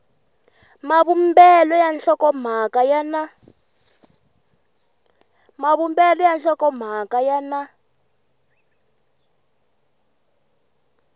mavumbelo ya nhlokomhaka ya na